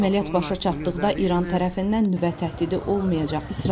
Əməliyyat başa çatdıqda İran tərəfindən nüvə təhdidi olmayacaq.